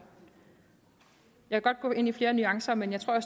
jeg kan godt gå ind i flere nuancer men jeg tror at